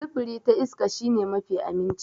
Sufuri ta iska shi ne mafi aminci.